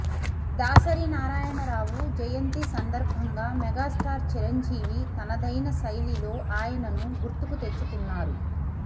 దాసరి నారాయణరావు జయంతి సందర్భంగా మెగాస్టార్ చిరంజీవి తనదైన శైలిలో ఆయనను గుర్తుకు తెచ్చుకు న్నారు